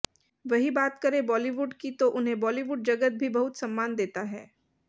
वहीं बात करें बॉलीवुड की तो उन्हें बॉलीवुड जगत भी बहुत सम्मान देता है